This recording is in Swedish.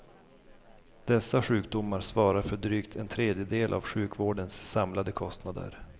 Dessa sjukdomar svarar för drygt en tredjedel av sjukvårdens samlade kostnader.